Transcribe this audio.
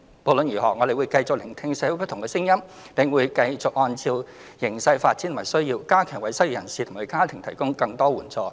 無論如何，我們會繼續聆聽社會不同聲音，並會繼續按照形勢發展及需要，加強為失業人士及其家庭提供更多援助。